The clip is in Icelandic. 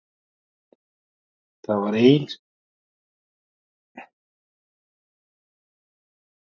Og það var einu sinni talað um að reisa kirkjuna uppi á Álfaborginni.